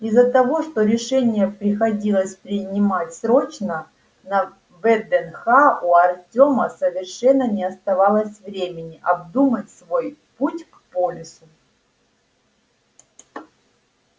из-за того что решение приходилось принимать срочно на вднх у артёма совершенно не оставалось времени обдумать свой путь к полису